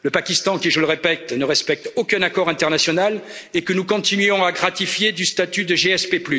Le Pakistan qui, je le répète, ne respecte aucun accord international et que nous continuons à gratifier du statut de